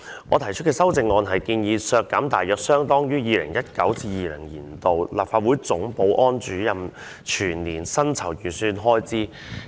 我提出的修正案是建議削減大約相當於 2019-2020 年度立法會總保安主任的全年薪酬預算開支。